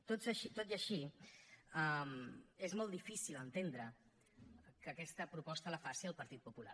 tot i així és molt difícil entendre que aquesta proposta la faci el partit popular